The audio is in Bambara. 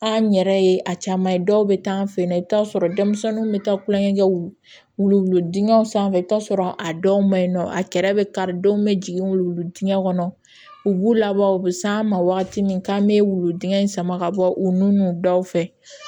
An yɛrɛ ye a caman ye dɔw bɛ taa an fɛ yen nɔ i bɛ taa sɔrɔ denmisɛnninw bɛ taa kulonkɛ kɛ wulu wuluwulu dingɛw sanfɛ i bɛ taa sɔrɔ a dɔw maɲin nɔ a kɛrɛ bɛ kari denw bɛ jigin wuluwulu dingɛ kɔnɔ u b'u labɔ u bɛ s'an ma wagati min k'an bɛ wulu dingɛ in sama ka bɔ u nun daw fɛ